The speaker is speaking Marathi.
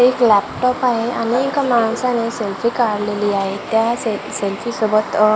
एक लॅपटॉप आहे आणि एका माणसाने सेल्फी काढलेली आहे त्या से सेल्फी सोबत आह --